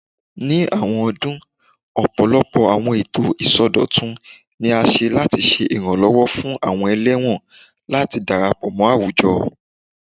Ni awọn ọdun, ọpọlọpọ awọn eto isọdọtun ni a ṣe lati ṣe iranlọwọ fun awọn ẹlẹwọn lati darapọ mọ awujọ